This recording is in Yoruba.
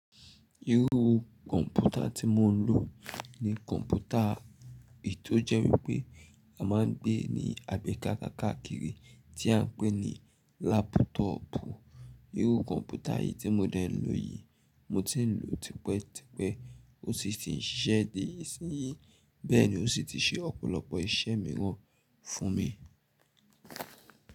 Irú kọ̀ǹpútà tí mo ń lò ní kọ̀ǹpútà eyi to jẹ́ wípé a máa ń gbé e ní àgbéká káàkiri tí a ń pè ní lápútọọ̀pù. Irú kọ̀ǹpútà yìí tí mo dẹ́ ń lò yìí, mo ti ń lò tipẹ́ tipẹ́ ó sì ti ń ṣiṣẹ́ di ìsinyi, bẹ́ẹ̀ ni ó sì ti ṣe ọ̀pọ̀lọpọ̀ iṣẹ́ mìíràn fún mi.